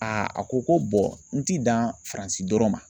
a ko ko n ti dan Faransi dɔrɔn ma.